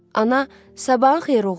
Ana, sabahın xeyir, oğlum.